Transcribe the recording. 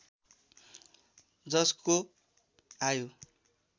जसको आयु